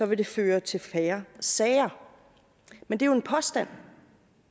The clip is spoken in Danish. vil det føre til færre sager men det er jo en påstand